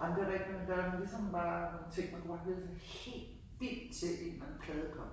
ej men det rigtig nok der er ligesom bare nogle ting man kunne bare glæde sig helt vildt til en eller anden plade kom